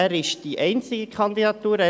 Er ist die einzige Kandidatur.